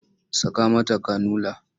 Saka mata kanula!